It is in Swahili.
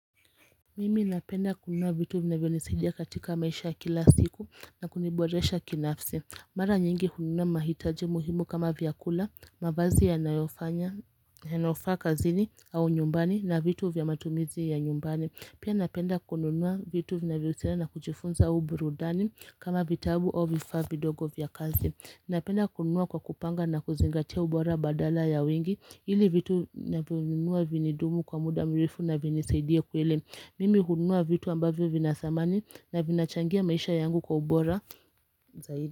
Mimi napenda kununua vitu vinavyonisaidia katika maisha ya kila siku na kuniboresha kinafsi Mara nyingi hununua mahitaji muhimu kama vyakula, mavazi yanayofaa kazini au nyumbani na vitu vya matumizi ya nyumbani Pia napenda kununua vitu vinavyonisaidia na kujifunza ubrudani kama vitabu au vifaa vidogo vya kazi Napenda kununua kwa kupanga na kuzingatia ubora badala ya wengi Hili vitu navyonunua vinidumu kwa muda mrefu na vinisaidie kweli Mimi hununua vitu ambavyo vina samani na vinachangia maisha yangu kwa ubora.